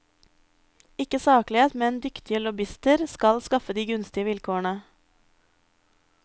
Ikke saklighet, men dyktige lobbyister har skaffet de gunstige vilkårene.